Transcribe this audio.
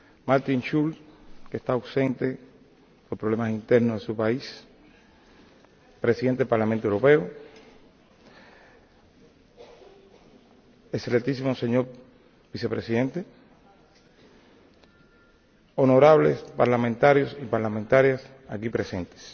Martin Schulz —que está ausente, por problemas internos en su país—, Presidente del Parlamento Europeo, excelentísimo señor Vicepresidente, honorables parlamentarios y parlamentarias aquí presentes,